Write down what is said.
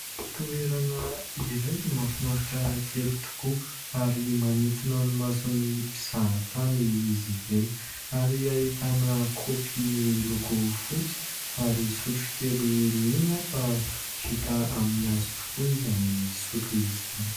Toerana iray mahafinahitra kely tokoa, ary manintona ny mason'ny mpizaha tany izy ireny. Ary ahitàna kaopy miloko fotsy, ary sotrokely mino aho fa vita amin'ny hazo tokoa izany sotro izany.